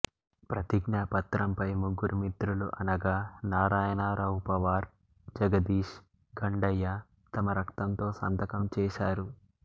ప్రతిజ్ఞా పత్రంపై ముగ్గురు మిత్రులు అనగా నారాయణ రావు పవార్ జగదీష్ గండయ్య తమ రక్తంతో సంతకం చేశారు